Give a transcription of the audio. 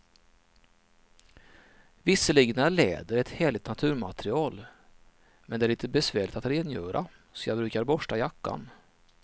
Visserligen är läder ett härligt naturmaterial, men det är lite besvärligt att rengöra, så jag brukar borsta jackan.